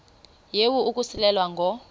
yehu ukususela ngo